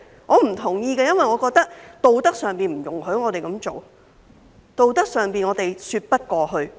我不同意，因為我認為道德上不容許我們這樣做，道德上我們說不過去。